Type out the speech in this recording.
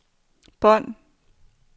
bånd